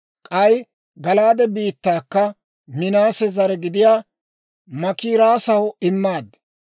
«K'ay Gala'aade biittaakka Minaase zare gidiyaa Maakiirassaw immaad.